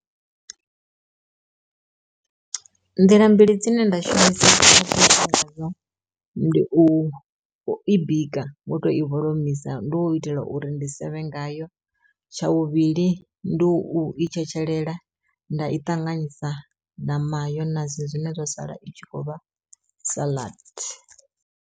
Nḓila mbili dzine nda shumisa ndi u i bika ngo to i vholomisa ndo u itela uri ndi sevhe ngayo, tsha vhuvhili ndi u i tshetshelela nda i ṱanganyisa na mayonasi zwine zwa sala i tshi khou vha saḽadi.